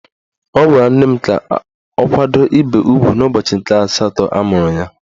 Ọ gwara nne m ka ọ kwado ibe ugwu n'ụbọchị nke asatọ amụrụ ya.